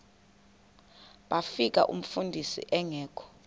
bafika umfundisi engekho